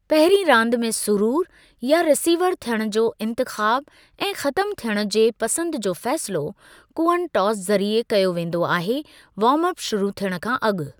पहिरीं रांदि में सुरूरु या रिसीवर थियणु जो इंतिख़ाबु ऐं ख़तमु थियणु जे पसंदि जो फ़ैसिलो कूअनि टास ज़रिए कयो वेंदो आहे वार्म अप शुरू थियणु खां अॻु।